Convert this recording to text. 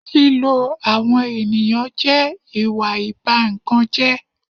Lílo àwọn ènìyàn jẹ́ ìwà ìba ìkan jẹ́